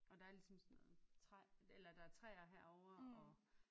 Og der er ligesom sådan noget træ eller der er træer herovre og